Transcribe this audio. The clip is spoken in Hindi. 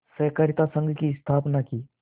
सहाकारित संघ की स्थापना की